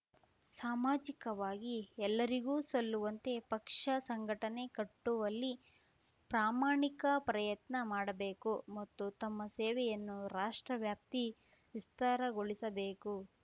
ಸಾಮಾಜಿಕವಾಗಿ ಎಲ್ಲರಿಗೂ ಸಲ್ಲುವಂತೆ ಪಕ್ಷ ಸಂಘಟನೆ ಕಟ್ಟುವಲ್ಲಿ ಪ್ರಾಮಾಣಿಕ ಪ್ರಯತ್ನ ಮಾಡಬೇಕು ಮತ್ತು ತಮ್ಮ ಸೇವೆಯನ್ನು ರಾಷ್ಟ್ರ ವ್ಯಾಪ್ತಿ ವಿಸ್ತಾರಗೊಳಿಸಬೇಕು